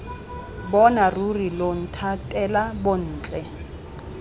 bona ruri lo nthatela bontle